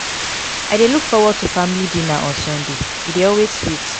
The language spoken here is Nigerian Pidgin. i dey look forward to family dinner on sunday; e dey always sweet.